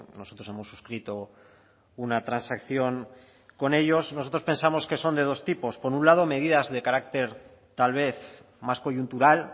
nosotros hemos suscrito una transacción con ellos nosotros pensamos que son de dos tipos por un lado medidas de carácter tal vez más coyuntural